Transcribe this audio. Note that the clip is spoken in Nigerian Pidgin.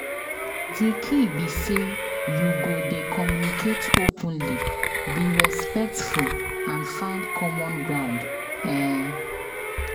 Di key be say you go dey communicate openly, be respectful and find common ground. um